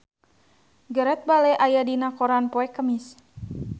Gareth Bale aya dina koran poe Kemis